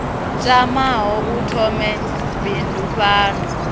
tamaho u thoma bindu fhano